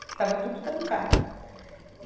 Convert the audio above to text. Porque estava tudo trancado. e